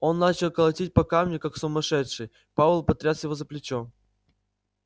он начал колотить по камню как сумасшедший пауэлл потряс его за плечо